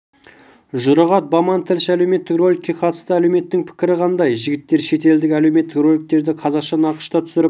жұрағат баман тілші әлеуметтік роликке қатысты әлеуметтің пікірі қандай жігіттер шетелдік әлеуметтік роликтерді қазақша нақышта түсіріп